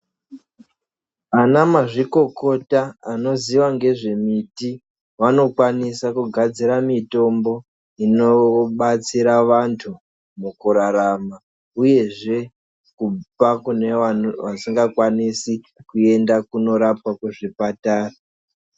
Ana mazvikokota anoziva ngezvemiti vanokwanisa kugadzira mitombo inobatsira vantu mukurarama uyezve kupa kune vasingakwanisi kuyenda kundorapwa kuzvipatara.